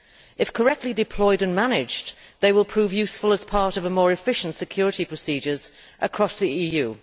If correctly deployed and managed, they will prove useful as part of a more efficient security procedure across the EU.